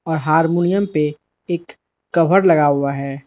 और हारमोनियम पे एक कवर लगा हुआ है।